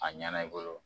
A ɲɛna i bolo